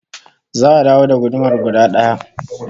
Za'a dawo da gudumar guda daya